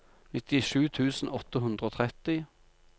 nittisju tusen åtte hundre og tretti